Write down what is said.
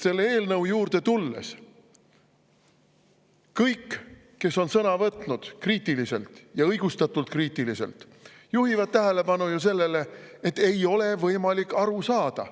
Selle eelnõu juurde tulles: kõik, kes on sõna võtnud kriitiliselt – ja õigustatult kriitiliselt –, juhivad ju tähelepanu sellele, et ei ole võimalik aru saada.